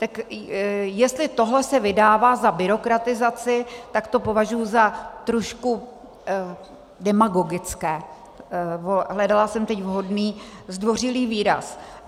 Tak jestli tohle se vydává za byrokratizaci, tak to považuji za trošku... demagogické - hledala jsem teď vhodný zdvořilý výraz.